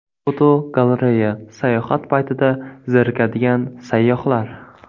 Fotogalereya: Sayohat paytida zerikadigan sayyohlar.